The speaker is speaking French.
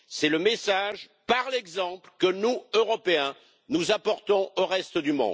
C'est le message par l'exemple que nous, Européens, apportons au reste du